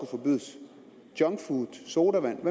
forbydes junkfood sodavand